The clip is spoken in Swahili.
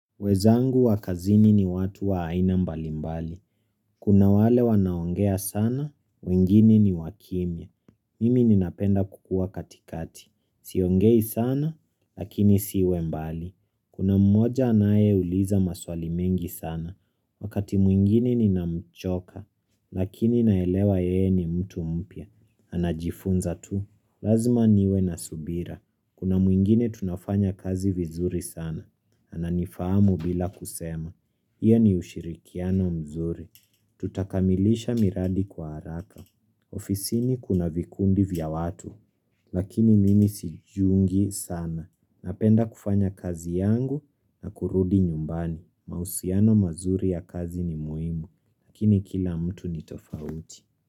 Wezangu wa kazini ni watu wa aina mbalimbali. Kuna wale wanaongea sana, wengine ni wakimya. Mimi ninapenda kukua katikati. Siongei sana, lakini siwe mbali. Kuna mmoja anaye uliza maswali mengi sana. Wakati mwingine ninamchoka, lakini naelewa yeye ni mtu mpya. Anajifunza tu. Lazima niwe na subira. Kuna mwingine tunafanya kazi vizuri sana. Ananifamu bila kusema. Hiyo ni ushirikiano mzuri. Tutakamilisha miradi kwa haraka. Ofisini kuna vikundi vya watu. Lakini mimi sijungi sana. Napenda kufanya kazi yangu na kurudi nyumbani. Mahusiano mazuri ya kazi ni muhimu. Lakini kila mtu ni tofauti.